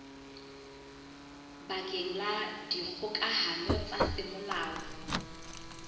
bakeng la dikgokahano tsa semolao